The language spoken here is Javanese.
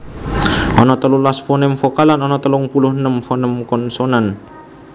Ana telulas foném vokal lan ana telung puluh enem foném konsonan